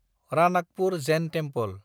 Ranakpur Jain temple